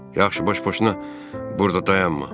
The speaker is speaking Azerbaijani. Yaxşı, boş-boşuna burda dayanma.